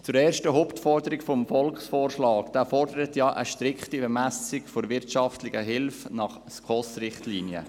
Zur ersten Hauptforderung des Volksvorschlags: Er fordert ja eine strikte Bemessung der wirtschaftlichen Hilfe nach den SKOS-Richtlinien.